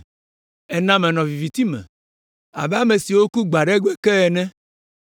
Ena menɔ viviti me abe ame siwo ku gbe aɖe gbe ke ene.